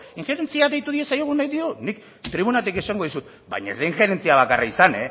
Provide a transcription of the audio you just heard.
injerentzia deitu diezaiogun nik tribunatik esango dizut baina ez da injerentzia bakarra izan